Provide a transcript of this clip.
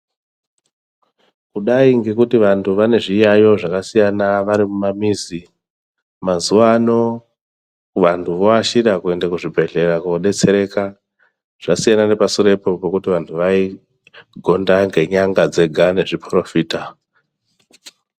Kudai ngekuti vantu vanezviyayiyo zvakasiyana varimumamizi mazuwano vantu voashira kuende kuzvibhehlera kodetsereka zvasiyana nepasurepo pekuti vantu vaigonda ngenyanga dzega nezviporofita.